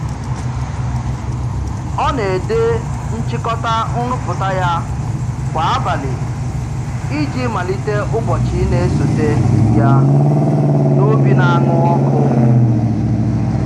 Ọ na-ede nchịkọta nrụpụta ya kwa abalị iji malite ụbọchị na-esote ya n'obi na-aṅụ ọkụ.